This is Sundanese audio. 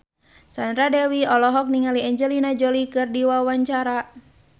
Sandra Dewi olohok ningali Angelina Jolie keur diwawancara